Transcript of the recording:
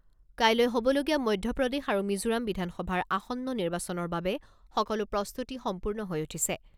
কাইলৈ হ'বলগীয়া মধ্যপ্ৰদেশ আৰু মিজোৰাম বিধানসভাৰ আসন্ন নিৰ্বাচনৰ বাবে সকলো প্ৰস্তুতি সম্পূৰ্ণ হৈ উঠিছে।